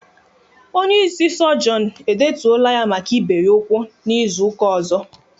Onye ịsị sọgionu e detuola ya maka ibe ya ukwu n'izuka ozo